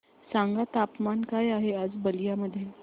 सांगा तापमान काय आहे आज बलिया मध्ये